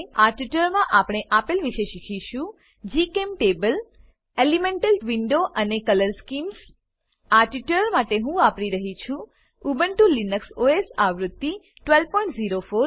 આ ટ્યુટોરીયલમાં આપણે આપેલ વિશે શીખીશું જીચેમ્ટેબલ એલીમેન્ટલ વિન્ડો અને કલર સ્કીમ્સ કલર સ્કીમ્સ આ ટ્યુટોરીયલ માટે હું વાપરી રહ્યી છું ઉબુન્ટુ લિનક્સ ઓએસ આવૃત્તિ 1204